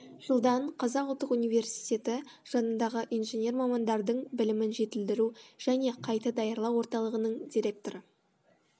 жылдан қазұу жанындағы инженер мамандардың білімін жетілдіру және қайта даярлау орталығының директоры